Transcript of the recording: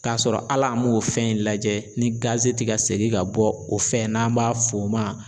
K'a sɔrɔ hal'an m'o fɛn in lajɛ ni gaze ti ka segin ka bɔ o fɛn n'an b'a f'o ma